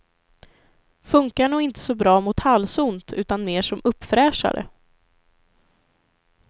Funkar nog inte så bra mot halsont utan mer som uppfräschare.